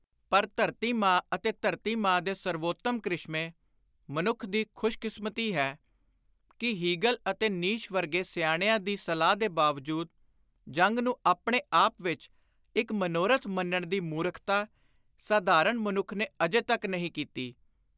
ਪਰ ਧਰਤੀ ਅਤੇ ਧਰਤੀ ਮਾਂ ਦੇ ਸਰਵੋਤਮ ਕ੍ਰਿਸ਼ਮੇਂ, ਮਨੁੱਖ ਦੀ ਖ਼ੁਸ਼ਕਿਸਮਤੀ ਹੈ ਕਿ ਹੀਗਲ ਅਤੇ ਨੀਸ਼ ਵਰਗੇ ਸਿਆਣਿਆਂ ਦੀ ਸਲਾਹ ਦੇ ਬਾਵਜੂਦ, ਜੰਗ ਨੂੰ ਆਪਣੇ ਆਪ ਵਿਚ ਇਕ ਮਨੋਰਥ ਮੰਨਣ ਦੀ ਮੂਰਖਤਾ, ਸਾਧਾਰਣ ਮਨੁੱਖ ਨੇ ਅਜੇ ਤਕ ਨਹੀਂ ਕੀਤੀ।